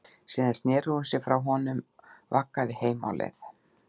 Síðan sneri hún sér frá honum og vaggaði heim á leið.